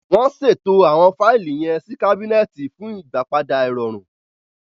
Wọn ṣeto awọn faili yen sí cabineti fun ìgbàpadà irọrun